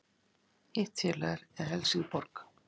Hitt félagið er Helsingborg